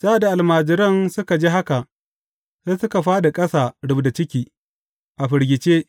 Sa’ad da almajiran suka ji haka, sai suka fāɗi ƙasa rubda ciki, a firgice.